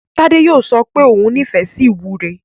Tádé yóò sọ pé ó nífẹ̀ẹ́ sí ìwúre.